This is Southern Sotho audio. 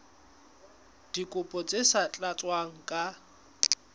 dikopo tse sa tlatswang ka